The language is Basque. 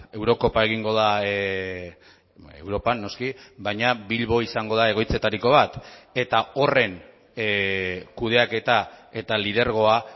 eurokopa egingo da europan noski baina bilbo izango da egoitzetariko bat eta horren kudeaketa eta lidergoa